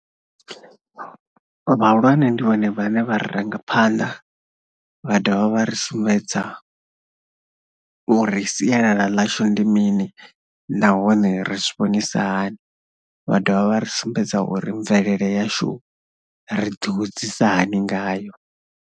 Vhahulwane ndi vhone vhane vha ri ranga phanḓa vha dovha vha ri sumbedza uri sialala ḽashu ndi mini nahone ri zwi vhoonisa hani. Vha dovha vha ri sumbedza uri mvelele yashu ri ḓihudzisa hani ngayo.